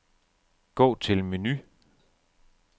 Gå til menu.